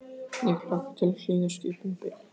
Ég hlakka til að hlýða skipun Bili?